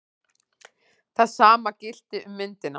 Það sama gilti um myndina.